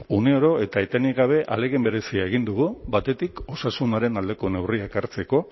une oro eta etenik gabe ahalegin berezia egin dugu batetik osasunaren aldeko neurriak hartzeko